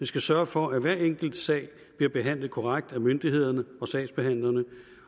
skal sørge for at hver enkelt sag bliver behandlet korrekt af myndighederne og sagsbehandlerne